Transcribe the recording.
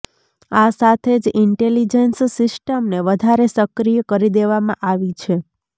આ સાથે જ ઈન્ટેલિજન્સ સિસ્ટમને વધારે સક્રિય કરી દેવામાં આવી છે